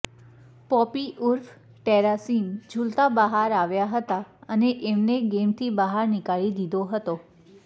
poppy ઉર્ફ ટેરાશિન ઝૂલતા બહાર આવ્યા હતા અને એમને ગેમથી બહાર નિકાળી દીધો હતો